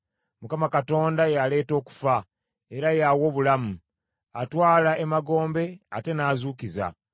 Mukama Katonda y’aleeta okufa, era y’awa obulamu; atwala emagombe ate n’azuukiza.